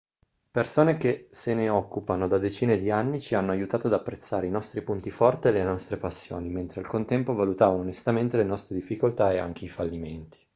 persone che se ne occupano da decine di anni ci hanno aiutato ad apprezzare i nostri punti forti e le nostre passioni mentre al contempo valutavamo onestamente le nostre difficoltà e anche i fallimenti